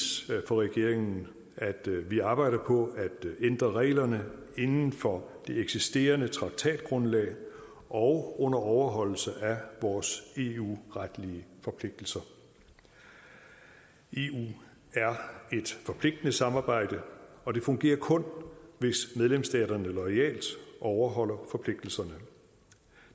for regeringen at vi arbejder på at ændre reglerne inden for det eksisterende traktatgrundlag og under overholdelse af vores eu retlige forpligtelser eu er et forpligtende samarbejde og det fungerer kun hvis medlemsstaterne loyalt overholder forpligtelserne